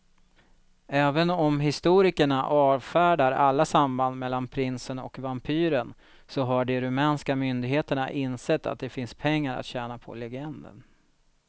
Även om historikerna avfärdar alla samband mellan prinsen och vampyren så har de rumänska myndigheterna insett att det finns pengar att tjäna på legenden.